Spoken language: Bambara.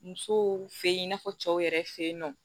Musow fe yen i n'a fɔ cɛw yɛrɛ fe yen nɔ